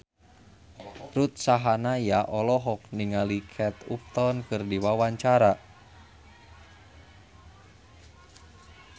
Ruth Sahanaya olohok ningali Kate Upton keur diwawancara